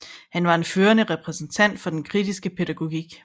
Han var en førende repræsentant for den kritiske pædagogik